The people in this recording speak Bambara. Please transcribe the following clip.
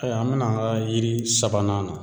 Aya an bɛna an ka yiri sabanan na.